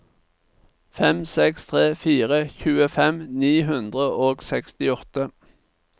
fem seks tre fire tjuefem ni hundre og sekstiåtte